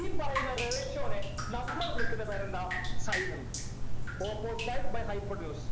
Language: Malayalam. ഈ പറയുന്ന ratio നെ നമ്മൾ വിളിക്കുന്ന പേരെന്താ sin എന്ന opposite side by hypotenuse